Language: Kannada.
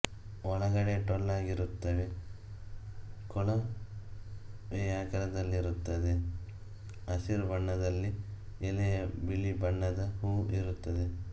ಒಳಗಡೆ ಟೊಳ್ಳಾಗಿರುತ್ತವೆ ಕೊಳವೆಯಾಕಾರದಲ್ಲಿರುತ್ತವೆ ಹಸಿರು ಬಣ್ಣದಲ್ಲಿ ಎಲೆಯ ಬಿಳಿ ಬಣ್ಣದ ಹೂವು ಇರುತ್ತದೆ